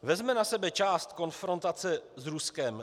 Vezmeme na sebe část konfrontace s Ruskem?